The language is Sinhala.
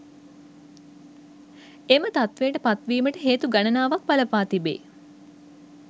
එම තත්ත්වයට පත්වීමට හේතු ගණනාවක් බලපා තිබේ